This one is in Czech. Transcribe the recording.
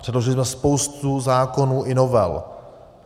Předložili jsme spoustu zákonů i novel.